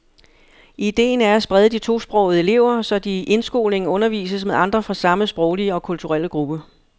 Idéen er at sprede de tosprogede elever, så de i indskolingen undervises med andre fra samme sproglige og kulturelle gruppe.